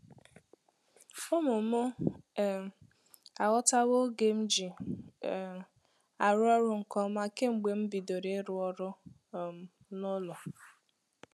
Ụmụ mụ um aghọtawo oge m ji um arụ ọrụ nke ọma kemgbe m bidoro ịrụ ọrụ um n'ụlọ.